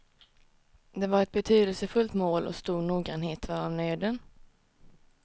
Det var ett betydelsefullt mål och stor noggrannhet var av nöden.